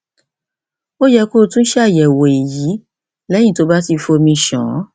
ó yẹ kí o tún ṣàyẹwò èyí lẹyìn tó o bá ti fi omi ṣàn